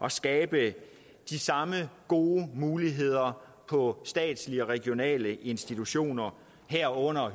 at skabe de samme gode muligheder på statslige og regionale institutioner herunder